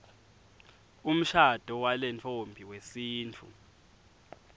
umshado walentfombi wesintfu